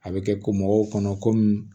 A bɛ kɛ ko mɔgɔw kɔnɔ komi